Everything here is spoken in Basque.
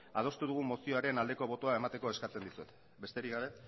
adostu dugun mozioaren aldeko botoa emateko eskatzen dizuet besterik gabe